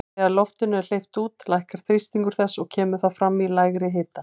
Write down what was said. Þegar loftinu er sleppt út lækkar þrýstingur þess og kemur það fram í lægri hita.